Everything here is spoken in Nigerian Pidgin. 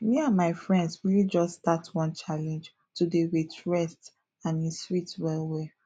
me and my friends really just start one challenge to dey wait rest and e sweet well well